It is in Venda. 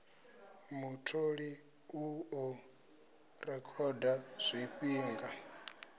mutholi u ḓo rekhoda zwifhinga